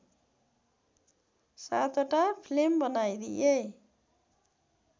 ७ वटा फिल्म बनाइदिए